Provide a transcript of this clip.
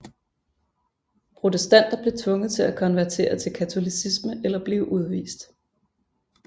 Protestanter blev tvunget til at konvertere til katolicisme eller blive udvist